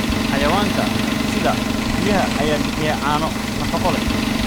Xayawaanka sida riyaha ayaa bixiya caano nafaqo leh.